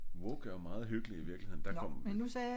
Woke er jo meget hyggeligt i virkeligheden der kom